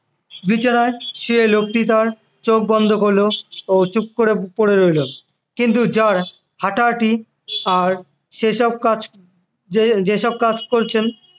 বিছানায় শুয়ে লোকটি তার চোখ বন্ধ করল ও চুপ করে পড়ে রইল কিন্তু জার হাঁটাহাঁটি আর সেসব কাজ যে~ যে সব কাজ করছেন